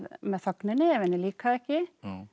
með þögninni ef henni líkaði ekki